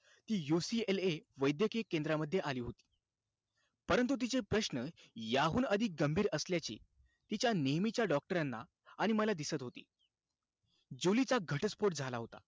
ती UCLA वैद्यकीय केंद्रामध्ये आली होती. परंतु तिचे प्रश्न, याहून अधिक गंभीर असल्याचे, तिच्या नेहमीच्या doctor ना आणि मला दिसत होते. जुलीचा घटस्फोट झाला होता.